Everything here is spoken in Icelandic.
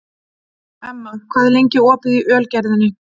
Emma, hvað er lengi opið í Ölgerðinni?